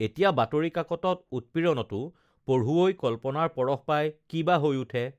এতিয়া বাতৰি কাকতত উৎপীড়নতো পটুৱৈ কল্পনাৰ পৰশ পাই কি বা হৈ উঠে